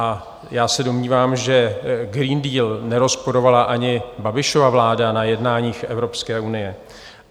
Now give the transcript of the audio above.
A já se domnívám, že Green Deal nerozporovala ani Babišova vláda na jednáních Evropské unie.